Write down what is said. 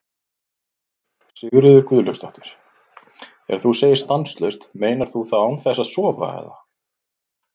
Sigríður Guðlaugsdóttir: Þegar þú segir stanslaust, meinar þú þá án þess að sofa eða?